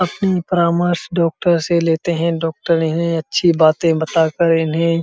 अपनी परामर्श डॉक्टर से लेते है। डॉक्टर इन्हे अच्छी बातें बता कर इन्हे --